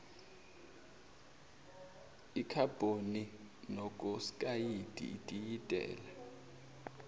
ikhabhoni monoksayidi itiyela